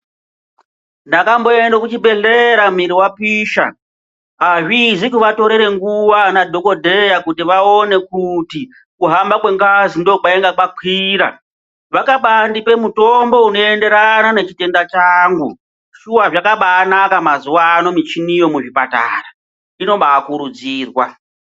Ndakamboende kuzvibhedhlera mili wapisha azvizi kuvatorere nguva ana dhokodheya kuti vaone kuti kuhamba kwengazi ndokwainga kwakwira vakaba andipa mutombo unoenderana nechitenda changu, shuwa zvakabaanaka mazuvano michiniyo muzvipatara, inobaa kurudzirwa.